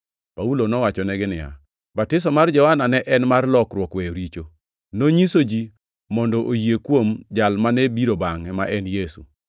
Paulo nowachonegi niya, “Batiso mar Johana ne en mar lokruok weyo richo. Nonyiso ji mondo oyie kuom Jal mane biro bangʼe, ma en Yesu.”